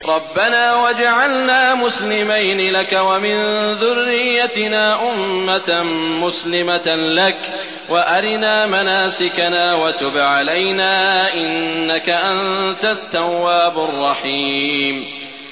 رَبَّنَا وَاجْعَلْنَا مُسْلِمَيْنِ لَكَ وَمِن ذُرِّيَّتِنَا أُمَّةً مُّسْلِمَةً لَّكَ وَأَرِنَا مَنَاسِكَنَا وَتُبْ عَلَيْنَا ۖ إِنَّكَ أَنتَ التَّوَّابُ الرَّحِيمُ